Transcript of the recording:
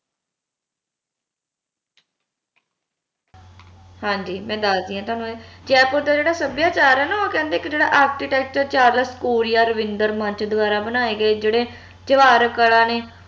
ਹਾਂਜੀ ਮੈਂ ਦੱਸਦੀ ਆ ਥੋਨੂੰ ਜੈਪੁਰ ਦਾ ਜਿਹੜਾ ਸੱਭਿਆਚਾਰ ਆ ਨਾ ਓ ਕਹਿੰਦੇ ਇਕ ਜੇਹੜਾ architecture ਚਾਰਲਸ ਕੋਰੀਆ ਰਵਿੰਦਰ ਮੰਚ ਦ੍ਵਾਰਾ ਬਣਾਏ ਗਏ ਜਿਹੜੇ ਜਵਾਰ ਕਲਾ ਨੇ